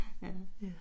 Ja